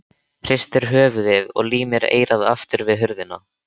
Hristir höfuðið og límir eyrað aftur við hurðina.